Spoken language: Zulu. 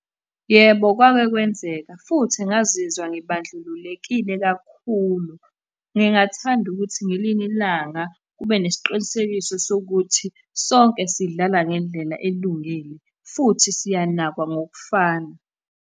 Yebo, kwake kwenzeka, futhi ngazizwa ngibandlululekile kakhulu. Ngingathanda ukuthi ngelinye ilanga kube nesiqinisekiso sokuthi sonke sidlala ngendlela elungile, futhi siyanakwa ngokufana.